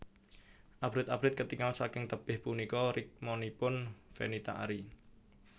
Abrit abrit ketingal saking tebih punika rikmanipun Fenita Arie